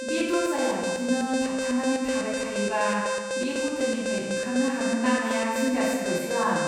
बे दर्जाया बिदिनो थाबथानानै थाबाय थायोबा बे ह'टेलनिफ्राय ओंखारनो हागोन्ना हाया जिंगा सिबायसो आं।